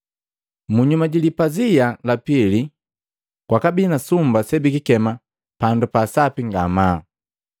Munyuma ji lipazia la pili, kwabii ni sumba sebikema Pandu pa Sapi ngamaa.